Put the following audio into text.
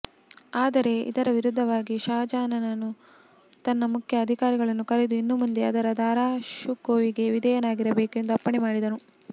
ಆದರೆ ಇದರ ವಿರುದ್ಧವಾಗಿ ಷಹಜಹಾನನು ತನ್ನ ಮುಖ್ಯ ಅಧಿಕಾರಿಗಳನ್ನು ಕರೆದು ಇನ್ನು ಮುಂದೆ ಅವರು ದಾರಾ ಷುಕೋವಿಗೆ ವಿಧೇಯರಾಗಿರಬೇಕೆಂದು ಅಪ್ಪಣೆಮಾಡಿದನು